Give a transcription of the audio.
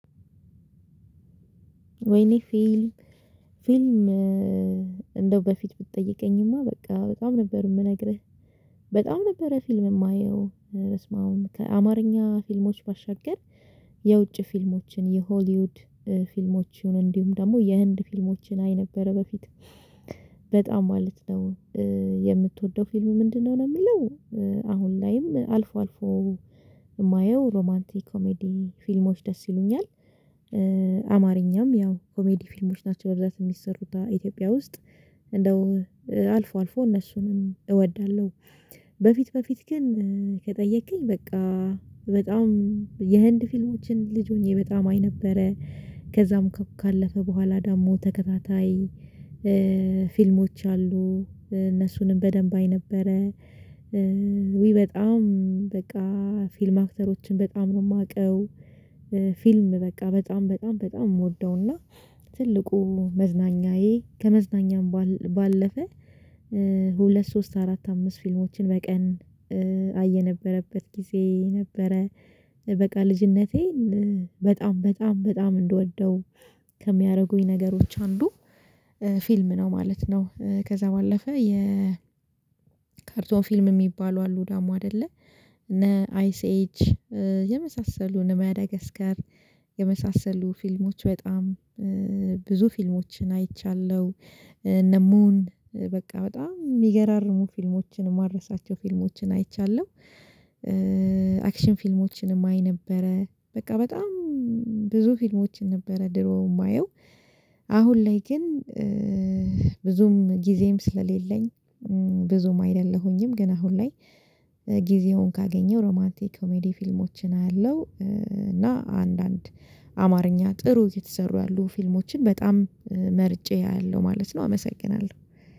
ወይኔ ፊልም ፊልም እንደው በፊት ብትጠይቀኝማ በቃ በጣም ነበር የምነግርህ በጣም ነበረ ፊልም የማየው አረ በስመአብ ከአማርኛ ፊልሞች ባሻገር የውጭ ፊልሞችን የሆሊውድ ፊልሞች ይሁን እንዲሁም ደግሞ የህንድ ፊልሞችን አይ ነበረ በፊት በጣም ማለት ነው የምትወደው ፊልም ምንድነው ነው የሚለው አሁን ላይም አልፎ አልፎ የማየው ሮማንቲክ ኮሜዲ ፊልሞች ደስ ይሉኛል። አማርኛ ያው ኮሜዲ ፊልሞች ናቸው በብዛት የሚሰሩት በኢትዮጵያ ውስጥ እንደው አልፎ አልፎ እነሱንም እወዳለሁ። በፊት በፊት ግን ከጠየከኝ በቃ በጣም የህንድ ፊልሞችን ልጅ ሆኜ በጣም አይ ነበረ ከዛም ካለፈ በኋላ ደግሞ ተከታታይ ፊልሞች አሉ እነሱንም በደንብ አይ ነበረ ውይ በጣም በቃ ፊልም አክተሮችን በጣም ነው የማውቀው። ፊልም በቃ በጣም በጣም በጣም የምወደውና ትልቁ መዝናኛዬ ከመዝናኛም ባለፈ ሁለት ሶስት አራት አምስት ፊልሞችን በቀን አይ የነበረበት ጊዜ ነበረ። በቃ ልጅነቴን በጣም በጣም በጣም እንድወደው ከሚያደርጉኝ ነገሮች አንዱ ፊልም ነው ማለት ነው። ከዛ ባለፈ የ ካርቶን ፊልም የሚባሉ አሉ ደግሞ አይደለ እና አይሲ ኤጅ የመሳሰሉ እና ማዳጋስካር የመሳሰሉ ፊልሞች በጣም ብዙ ፊልሞችን አይቻለሁ። እነሙን በቃ በጣም የሚገራርሙ ፊልሞችን የማረሳቸው ፊልሞችን አይቻለሁ። አክሽን ፊልሞችንም አይ ነበረ በቃ በጣም ብዙ ፊልሞችን ነበረ ድሮ የማየው። አሁን ላይ ግን ብዙም ጊዜም ስለሌለኝ ብዙም አይደለሁኝም ግን አሁን ላይ ጊዜውን ካገኘው ሮማንቲክ ኮሜዲ ፊልሞችን አያለው እና አንዳንድ አማርኛ ጥሩ እየተሰሩ ያሉ ፊልሞችን በጣም መርጬ አያለው ማለት ነው። አመሰግናለሁ